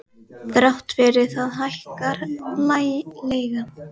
Þrátt fyrir það hækkar leigan.